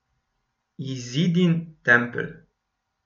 Izidin tempelj.